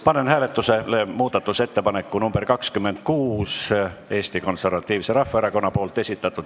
Panen hääletusele muudatusettepaneku nr 26, mille on esitanud Eesti Konservatiivne Rahvaerakond.